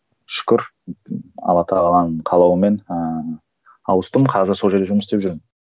шүкір алла тағаланың қалауымен ыыы ауыстым қазір сол жерде жұмыс істеп жүрмін